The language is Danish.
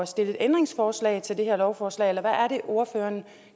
stille ændringsforslag til det her lovforslag eller hvad er det ordføreren